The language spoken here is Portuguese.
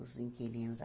Os inquilinos.